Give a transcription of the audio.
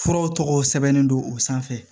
Furaw tɔgɔ sɛbɛnnen don o sanfɛ